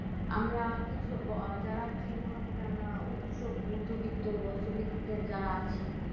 আমরা কিছু যারা আর কি মোটামুটি আমরা উচ্চ মধ্যবিত্ত বা উচ্চবিত্তে যারা আছি।